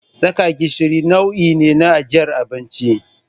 Saka gishiri nau'i ne na ajiyar abinci.